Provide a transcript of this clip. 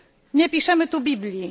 Nie piszemy tu Biblii.